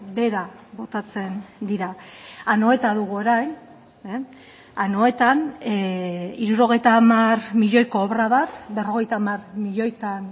behera botatzen dira anoeta dugu orain anoetan hirurogeita hamar milioiko obra bat berrogeita hamar milioitan